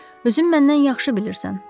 Özün məndən yaxşı bilirsən.